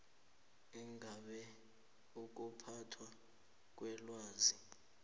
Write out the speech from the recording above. ingabe ukuphathwa kwelwazi